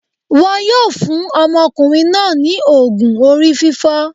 Won yóò fún ọmọkùnrin náà ní ògùn orí fífọ́.